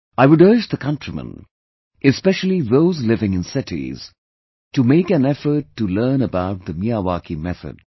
I would urge the countrymen, especially those living in cities, to make an effort to learn about the Miyawaki method